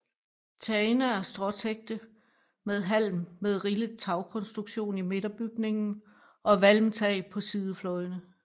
Tagene er stråtækte med halm med rillet tagkonstruktion i midterbygningen og valmtag på sidefløjene